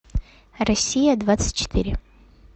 россия двадцать четыре